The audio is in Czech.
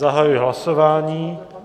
Zahajuji hlasování.